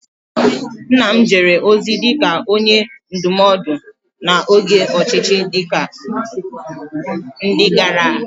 Nna m jere ozi dị ka Onye Ndụmọdụ n'oge ọchịchị ndị agha